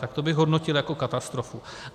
Tak to bych hodnotil jako katastrofu.